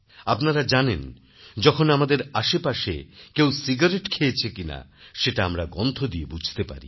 আপনারা জানেন যখন আমাদের আশেপাশে কেউ সিগারেট খেয়েছে কিনা সেটা আমরা গন্ধ দিয়ে বুঝতে পারি